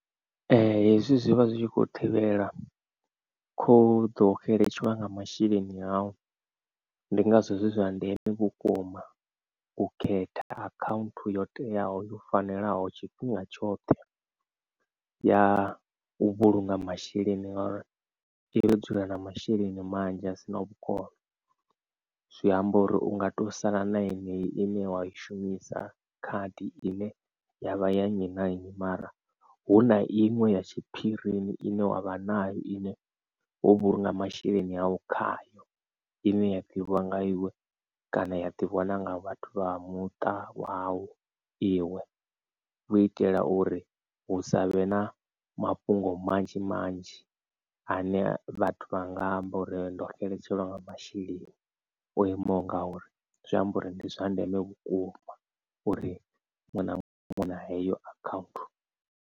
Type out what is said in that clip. Hezwi zwivha zwi kho thivhela khoḓo xeletshelwa nga masheleni au ndi ngazwo zwi zwa ndeme vhukuma u khetha account yo teaho yo fanelaho tshifhinga tshoṱhe ya u vhulunga masheleni ngori i ro dzula na masheleni manzhi a sina vhukono zwi amba uri unga to sala na yeneyi ine wa i shumisa khadi ine ya vha ya nnyi na nnyi mara hu na iṅwe ya tshiphirini ine wa vha nayo ine wo vhulunga masheleni avho. Khayo ine ya ḓivhiwa nga iwe kana ya ḓivhiwa na nga vhathu vha vha muṱa wau iwe u itela uri hu savhe na mafhungo manzhi manzhi ane vhathu vha nga amba uri ndo xeletshelwa nga masheleni o imaho nga uri zwi amba uri ndi zwa ndeme vhukuma uri muṅwe na muṅwe una heyo account.